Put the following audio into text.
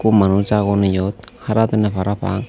hukkun manuj agon iyot hara hodonne parapang.